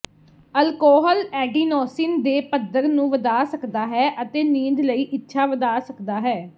alcohol adenosine ਦੇ ਪੱਧਰ ਨੂੰ ਵਧਾ ਸਕਦਾ ਹੈ ਅਤੇ ਨੀਂਦ ਲਈ ਇੱਛਾ ਵਧਾ ਸਕਦਾ ਹੈ